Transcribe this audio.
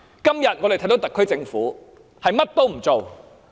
相反，我們今天看到特區政府甚麼也不做。